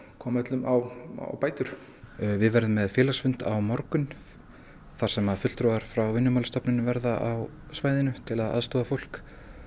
koma öllum á bætur við verðum með félagsfund á morgun þar sem að fulltrúar frá Vinnumálastofnun munu verða á svæðinu til að aðstoða fólk